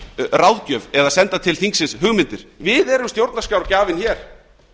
ráðgjöf eða fulla til þingsins hugmyndir við erum stjórnarskrárgjafinn hér